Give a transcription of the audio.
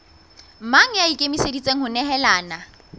mang ya ikemiseditseng ho nehelana